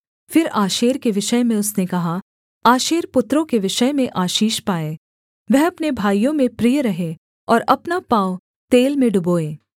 फिर आशेर के विषय में उसने कहा आशेर पुत्रों के विषय में आशीष पाए वह अपने भाइयों में प्रिय रहे और अपना पाँव तेल में डुबोए